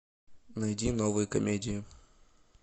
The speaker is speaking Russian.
найди новые комедии